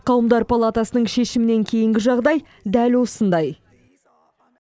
қауымдар палатасының шешімінен кейінгі жағдай дәл осындай